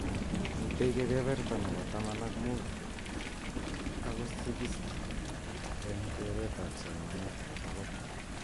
Mitei kebeberta nebo taman ak mut ako sikisti eng keret ab somanet agetugul.